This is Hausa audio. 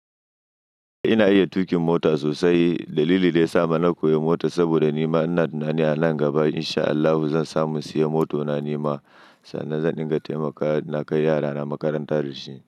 Ina iya tuƙin mota sosai. Dalili da ya sa na koyi mota saboda nima ina tunanin a nan gaba in sha Allahu zan samu siyan moto na nima sannan zan dinga taimaka na kai yarana makaranta da shi.